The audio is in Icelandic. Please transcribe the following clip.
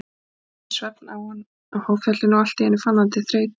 Það sótti svefn á hann á háfjallinu og allt í einu fann hann til þreytu.